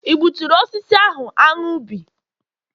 i gbuturu osisi ahụ anu bi?